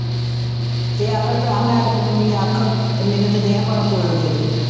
ਤੇ ਆਖਰ ਭਰਾ ਮੈਂ ਤੇ ਬਣਾਉਣੀ ਹੈ ਅੱਖ ਤੇ ਮੈਨੂੰ ਤੇ ਦੇ ਭਾਵੇਂ ਕੋਲੋਂ ਦੇ ਦੇ।